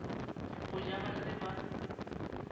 go ja ba se ba